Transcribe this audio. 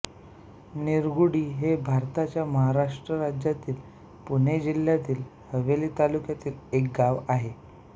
निरगुडी हे भारताच्या महाराष्ट्र राज्यातील पुणे जिल्ह्यातील हवेली तालुक्यातील एक गाव आहे